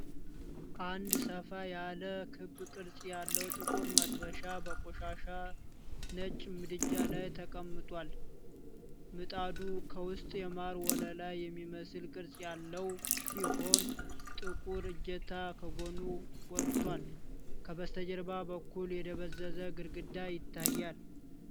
አንድ ሰፋ ያለ ክብ ቅርጽ ያለው ጥቁር መጥበሻ በቆሻሻ ነጭ ምድጃ ላይ ተቀምጧል። ምጣዱ ከውስጥ የማር ወለላ የሚመስል ቅርፅ ያለው ሲሆን፣ ጥቁር እጀታ ከጎኑ ወጥቷል። ከበስተጀርባ በኩል የደበዘዘ ግድግዳ ይታያል።